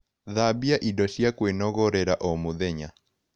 Thambia indo cia kwĩnogorera o mũthenya